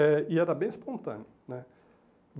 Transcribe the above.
É e era bem espontâneo né.